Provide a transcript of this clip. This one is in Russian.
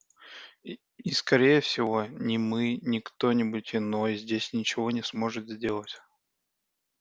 и и скорее всего ни мы ни кто-нибудь иной здесь ничего не сможет сделать